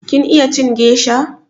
Kin iya cin gesha?